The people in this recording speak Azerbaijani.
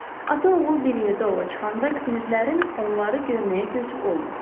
Ata-oğul bir yerdə ova çıxanda kinirlərin onları görməyə gözü olmur.